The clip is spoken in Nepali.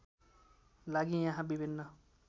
लागि यहाँ विभिन्न